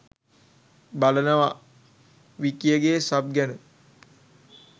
බලනවා.විකියගේ සබ් ගැන